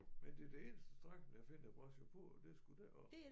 Men det er det eneste strækning jeg finder brachiopoder det er sgu deroppe